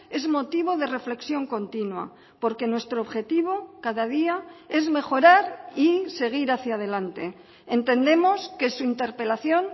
es motivo de reflexión continua porque nuestro objetivo cada día es mejorar y seguir hacia adelante entendemos que su interpelación